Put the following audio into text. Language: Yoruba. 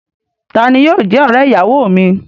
Ta ni yóò jẹ́ ọ̀rẹ́-ìyàwọ mi?